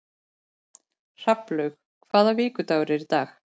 Hrafnlaug, hvaða vikudagur er í dag?